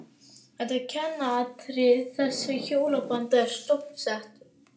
Þetta er kjarnaatriði þess að hjónaband er stofnsett.